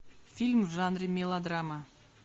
фильм в жанре мелодрама